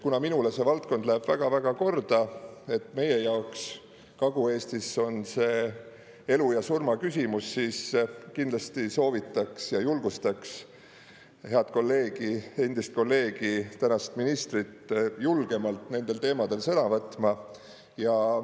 Kuna minule see valdkond läheb väga-väga korda, et meie jaoks Kagu-Eestis on see elu ja surma küsimus, siis kindlasti soovitaks ja julgustaks head kolleegi, endist kolleegi, tänast ministrit julgemalt nendel teemadel sõna võtma.